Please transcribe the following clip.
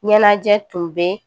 Ɲɛnajɛ tun bɛ